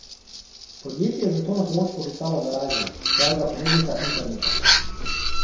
Podjetje je zato na pomoč poklicalo Verizon, svojega ponudnika interneta.